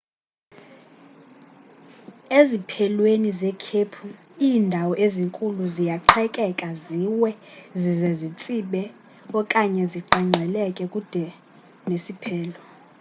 eziphelweni zekhephu iindawo ezinkulu ziyaqhekeka ziwe zize zitsibe okanye ziqengqelelkele kude nesiphelo